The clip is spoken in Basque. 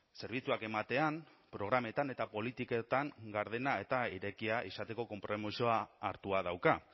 zerbitzuak ematean programetan eta politiketan gardena eta irekia izateko konpromisoa hartua dauka